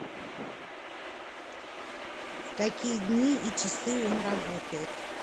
в какие дни и часы он работает